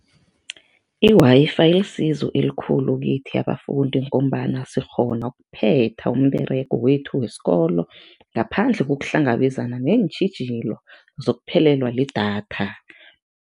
I-Wi-Fi ilisizo elikhulu kithi abafundi ngombana sikghona ukuphetha umberego wethu wesikolo ngaphandle kokuhlangabezana neentjhijilo zokuphelelwa lidatha.